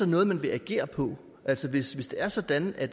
noget man vil agere på altså hvis det er sådan at